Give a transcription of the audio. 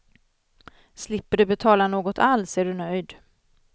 Slipper du betala något alls är du nöjd.